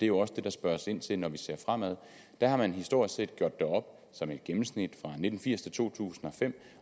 jo også det der spørges ind til når vi ser fremad der har man historisk set gjort det op som et gennemsnit fra nitten firs til to tusind og fem